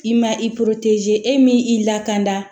I ma i e min i lakanda